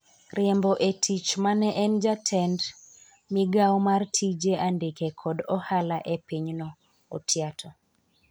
riembo e tich mane en jetend migawo mar tije andike kod ohala e pinyno, Otiato